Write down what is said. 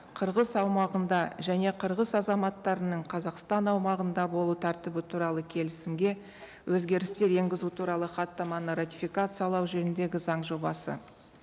қырғыз аумағында және қырғыз азаматтарының қазақстан аумағында болу тәртібі туралы келісімге өзгерістер енгізу туралы хаттаманы ратификациялау жөніндегі заң жобасы